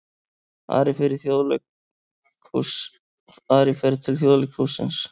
Ari fer til Þjóðleikhússins